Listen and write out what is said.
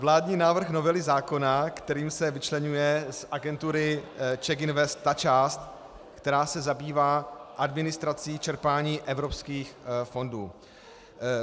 Vládní návrh novely zákona, kterým se vyčleňuje z agentury CzechInvest ta část, která se zabývá administrací čerpání evropských fondů.